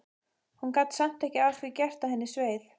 Hún gat samt ekki að því gert að henni sveið.